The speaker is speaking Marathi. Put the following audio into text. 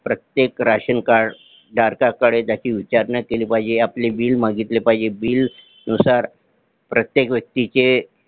प्रत्येक राशन कार्ड धारकाकडे त्याची विचारणा केली पाहिजे आपले Bill मागितले पाहिजे Bill नुसार प्रत्येक व्यक्तीचे